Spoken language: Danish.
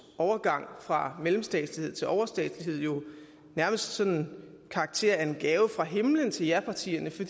overgang fra mellemstatslighed til overstatslighed nærmest sådan karakter af en gave fra himlen til japartierne for